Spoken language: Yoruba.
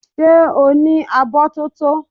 Ṣé o ní abọ́ tótó?